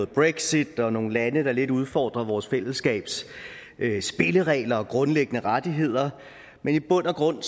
brexit og nogle lande der lidt udfordrer vores fællesskabs spilleregler og grundlæggende rettigheder men i bund og grund